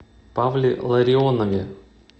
павле ларионове